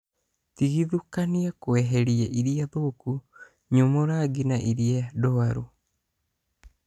Tigithũkania kweheria iria thũku, nyumu rangi na iria ndwaru